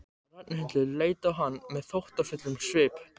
Ragnhildur leit á hann með þóttafullum svip.